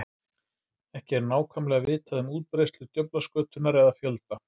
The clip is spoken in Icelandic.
Ekki er nákvæmlega vitað um útbreiðslu djöflaskötunnar eða fjölda.